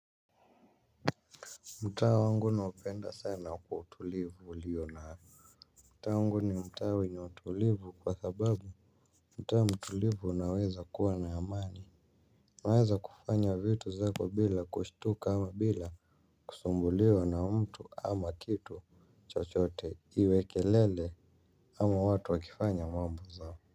Mtaa wangu naupenda sana kwa utulivu ulio nayo. Mtaa wangu ni mtaa wenye utulivu kwa sababu mtaa mtulivu unaweza kuwa na amani. Naweza kufanya vitu zako bila kushtuka ama bila kusumbuliwa na mtu ama kitu chochote iwe kelele ama watu wakifanya mambo zao.